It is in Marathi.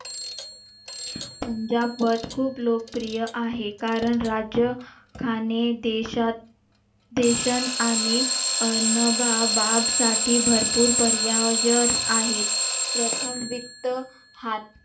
पंजाब वर खूप लोकप्रिय आहे कारण राज्य खाने देशात देशां आणि अनन्न बाब साठी भरपूर पर्याय आहेत प्रथम वित्त हात